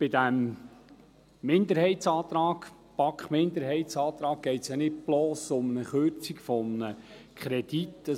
Bei diesem BaK-Minderheitsantrag geht es ja nicht bloss um die Kürzung eines Kredits.